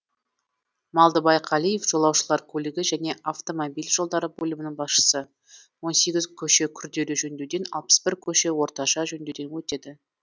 малдыбай қалиев жолаушылар көлігі және автомобиль жолдары бөлімінің басшысы он сегіз көше күрделі жөндеуден алпыс бір көше орташа жөндеуден өтеді